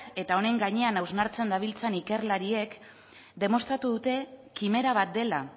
eta honen gainean hausnartzen dabiltzan ikerlariek demostratu dute kimera bat dela